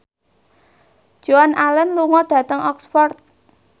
Joan Allen lunga dhateng Oxford